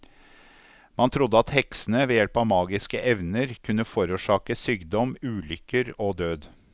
Man trodde at heksene, ved hjelp av magiske evner, kunne forårsake sykdom, ulykker og død.